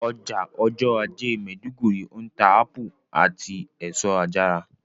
Ọjà ọjọ́ ajé maiduguri ń ta ápù àti èso àjàrà